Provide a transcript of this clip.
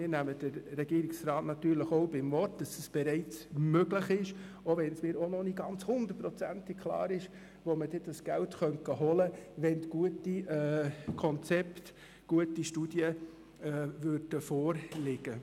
Wir nehmen den Regierungsrat natürlich beim Wort, wenn er sagt, dass dies bereits möglich sei, auch wenn es mir noch nicht hundertprozentig klar ist, wo man dieses Geld holen könnte, falls gute Studien und Konzepte vorlägen.